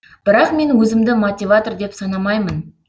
бірақ мен өзімді мотиватор деп санамаймын